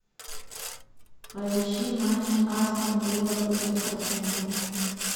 поищи матч астон вилла против арсенала